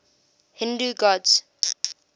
hindu gods